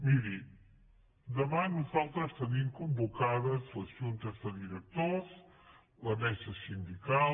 miri demà nosaltres tenim convocades les juntes de directors la mesa sindical